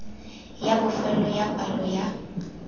ya bofelo ya palo ya